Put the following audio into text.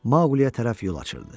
Maquliyə tərəf yol açırdı.